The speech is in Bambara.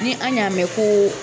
Ni an y'a mɛn ko